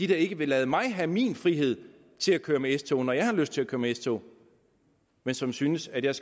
der ikke vil lade mig have min frihed til at køre med s tog når jeg har lyst til at køre med s tog men som synes at jeg